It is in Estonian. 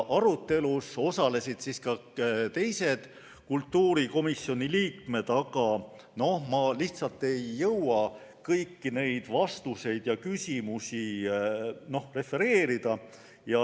Arutelus osalesid ka teised kultuurikomisjoni liikmed, aga ma lihtsalt ei jõua kõiki nende vastuseid ja küsimusi refereerida.